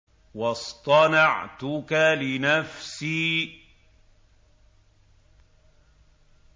وَاصْطَنَعْتُكَ لِنَفْسِي